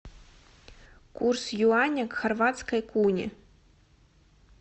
курс юаня к хорватской куне